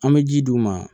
An bɛ ji d'u ma